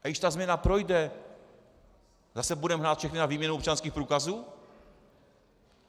A když ta změna projde, zase budeme hnát všechny na výměnu občanských průkazů?